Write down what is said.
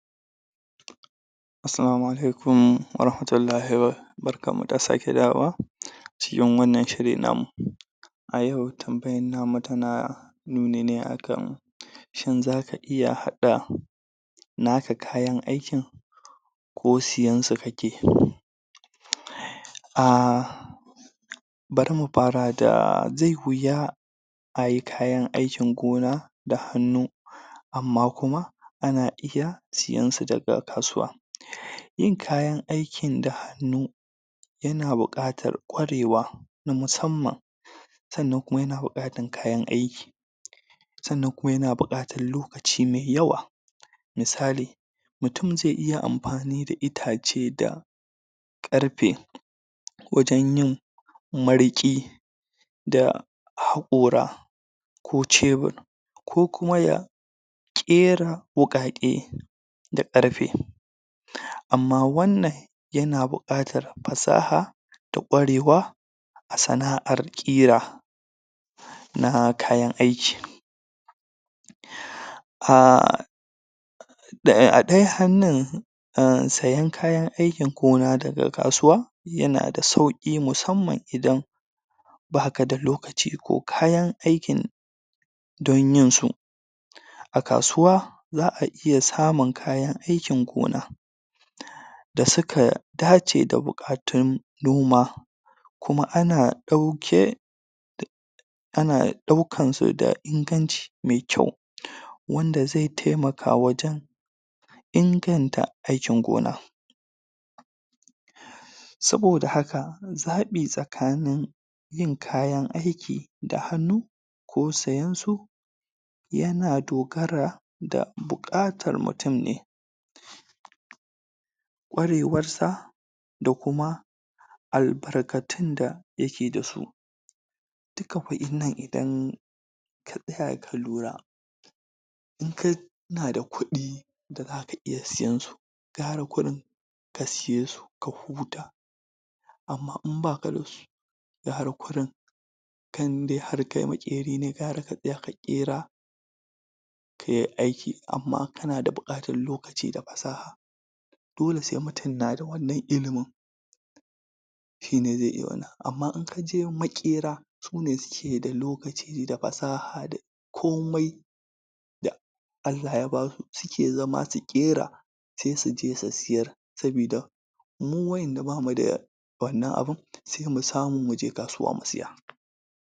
Assalamu alaikum warahmatullahi, barkan mu da sake dawowa cikin wannan shiri namu ayau tambayan namu tana nuni ne akan shin zaka iya hada na ka kayan aikin ko siyansu kake a bari mu fara da zai wuya ai kayan aikin gona da hanu amma kuma ana iya sayan su daga kasuwa yin kayan aikin da hannu yana bukatar kwarewa na musaman sanna kuma yana bukatan kayan aiki sanan kuma yana bukatan lokaci mai yawwa misali; mutum zai iya anfani da itace da karfe wajen yin marke da hakora ko cebir kokuma ya kera wukake da karfe amma wannan yana bukata fasaha da kwarewa a sana'ar kira na kayan aiki da ya adai hannu um siyan kayan aikin gona daga kasuwa yana da sauki musamman idan baka da lokaci ko kayan aikin don yin su a kasuwa za a iya samun kayan aikin gona da suka dace da bukatun noma kuma ana dauke da ana daukan su da inganci me kau wanda zai taimaka wajen inganta aikin gona saboda haka zabi tsakanin yin kayan aiki da hannu ko sayan su yana dogara da bukar tar mutan ne kwarewarsa da kuma albarkatun da yake da su duka kudin nan idan ka tsaya ka lura in kana da kudi da zaka iyan sayan su kara kudin ka siye su ka huta amma in baka a su guara kurin kan dai ke makeri ne gaura ka tsaya ka kera kayan aiki amma in kana da bukatan lokaci da fasaha dole sai mutun na da wannan illimin shine zai iya wannan amma in ka je makera su ne suke d lokaci da fasaha da komai da allah ya ba su suke zama su kera se su je su sayar sabida mu wadan da bamu da wannan abun sai mu samu muje kasuwa mu siya